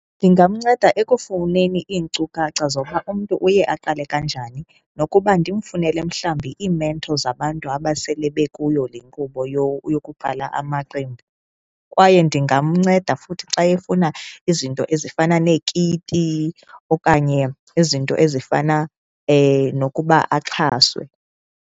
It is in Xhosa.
Ndingamnceda ekufuneni iinkcukacha zokuba umntu uye aqale kanjani nokuba ndimfunele mhlawumbi iimentho zabantu abasele bekuyo le nkqubo yokuqala amaqembu. Kwaye ndingamnceda futhi xa efuna izinto ezifana neekiti okanye izinto ezifana nokuba axhaswe.